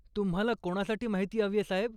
तुम्हाला कोणासाठी माहिती हवीय, साहेब?